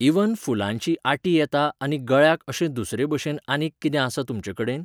Even फुलांची आटी येता आनी गळ्याक अशें दुसरेभशेन आनीक कितें आसा तुमचें कडेन?